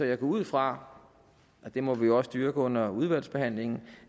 jeg går ud fra og det må vi også dyrke under udvalgsbehandlingen